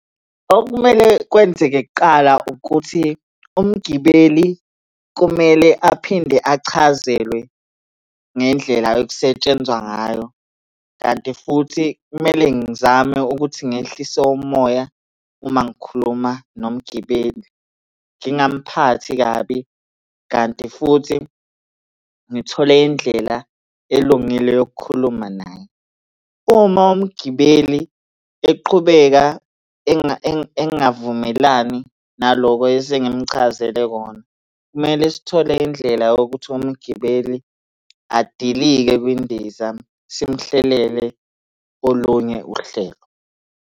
Okumele kwenzeke kuqala ukuthi umgibeli kumele aphinde achazelwe ngendlela okusetshenzwa ngayo, kanti futhi kumele ngizame ukuthi ngehlise umoya uma ngikhuluma nomgibeli. Ngingamphathi kabi, kanti futhi ngithole indlela elungile yokukhuluma naye. Uma umgibeli eqhubeka engavumelani naloko esengimuchazele kona, kumele sithole indlela yokuthi umgibeli adilike kwindiza simuhlelele olunye uhlelo.